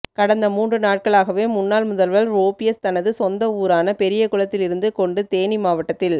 கடந்த மூன்று நாட்களாகவே முன்னாள் முதல்வர் ஒபிஎஸ் தனது சொந்த ஊரான பெரியகுளத்தில் இருந்து கொண்டு தேனி மாவட்டத்தில்